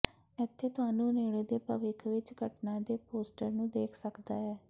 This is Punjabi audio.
ਇੱਥੇ ਤੁਹਾਨੂੰ ਨੇੜੇ ਦੇ ਭਵਿੱਖ ਵਿੱਚ ਘਟਨਾ ਦੇ ਪੋਸਟਰ ਨੂੰ ਦੇਖ ਸਕਦਾ ਹੈ